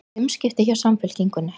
Umskipti hjá Samfylkingunni